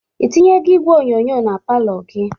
Ị tinyego igwe onyonyo na palọ gi?